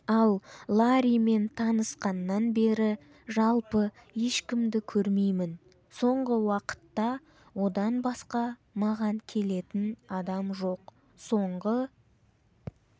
ал ларримен танысқаннан бері жалпы ешкімді көрмеймін соңғы уақытта одан басқа маған келетін адам жоқ соңғы